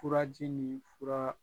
Furaji ni fura